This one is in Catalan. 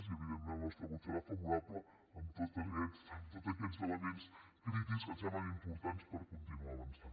i evidentment el nostre vot serà favorable amb tots aquests elements crítics que ens semblen importants per continuar avançant